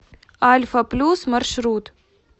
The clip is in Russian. альфа плюс маршрут